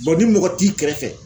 ni mɔgɔ t'i kɛrɛfɛ